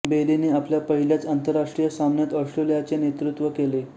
बेलीने आपल्या पहिल्याच आंतरराष्ट्रीय सामन्यात ऑस्ट्रेलियाचे नेतृत्त्व केले